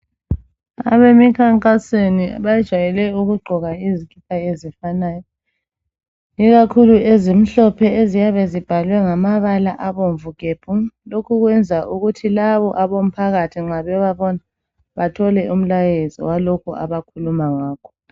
abemikhankasweni bjayele ukugqoka izikipa ezifanayo ikakhulu ezimhlophe eziyabe zibhalwe ngamabala abomvu gebhu lokhu kwenza ukuthi labo abomphakathi nxa bebabona bathole umlayezo walokho abakhuluma ngakho